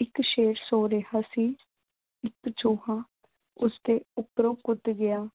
ਇੱਕ ਸ਼ੇਰ ਸੋ ਰਿਹਾ ਸੀ। ਇੱਕ ਚੂਹਾ ਉਸਦੇ ਉਪਰੋਂ ਕੁੱਦ ਗਿਆ।